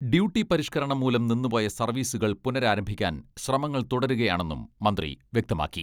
Duty പരിഷ്ക്കരണം മൂലം നിന്നുപോയ സർവീസുകൾ പുനരാരംഭിക്കാൻ ശ്രമങ്ങൾ തുടരുകയാണെന്നും മന്ത്രി വ്യക്തമാക്കി.